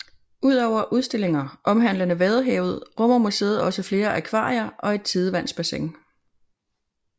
Ud over udstillinger omhandlende vadehavet rummer museet også flere akvarier og et tidevandsbassin